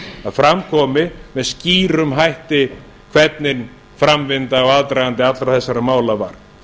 að fram komi með skýrum hætti hvernig framvinda og aðdragandi allra þessara mála var